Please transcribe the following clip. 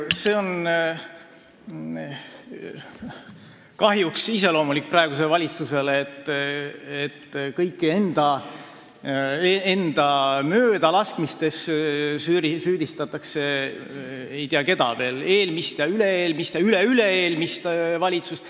See on kahjuks iseloomulik praegusele valitsusele, et kõikides enda möödalaskmistes süüdistatakse ei tea keda veel – eelmist, üle-eelmist ja üleüle-eelmist valitsust.